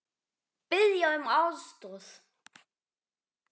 Biðja um aðstoð!